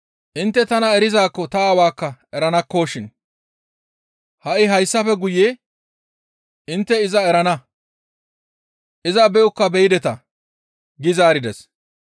Intte tana erizaakko ta Aawaakka eranakkoshin; ha7i hayssafe guye intte iza erana; iza be7okka beyideta» gi zaarides.